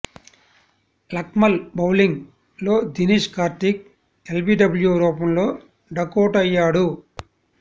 Lakmal bowling లో Dinesh Karthik LBW రూపంలో డకౌటయ్యాడు